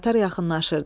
Qatar yaxınlaşırdı.